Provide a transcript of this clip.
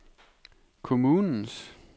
kommunens